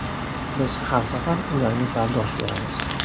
Biz har safar ularga bardosh beramiz.